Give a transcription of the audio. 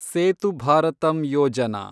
Setu Bharatam Yojana